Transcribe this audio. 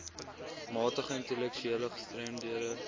matige intellektuele gestremdhede